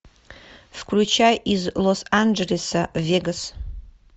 включай из лос анджелеса в вегас